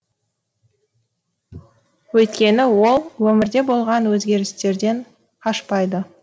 өйткені ол өмірде болған өзгерістерден қашпайды